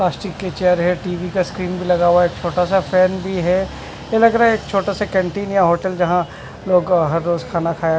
plastic का chair है TV का स्क्रीन भी लगा हुआ है छोटा सा फेन भी है एसा लग रहा है एक छोटे से कैंटीन या होटल झा लोग हररोज खाना खाया--